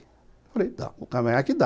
Eu falei, dá, o cavanhaque dá.